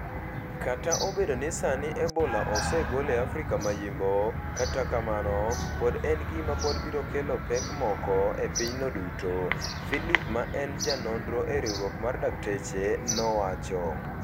Kata obedo ni sani Ebola osegol e Afrika ma Yimbo, kata kamano, pod en gima pod biro kelo pek moko e pinyno duto. Philip ma en ja nondro e riwrok mar dakteche nowacho